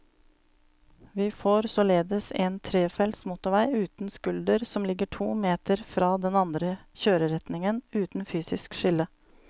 Vi får således en trefelts motorvei uten skulder som ligger to meter fra den andre kjøreretningen, uten fysisk skille.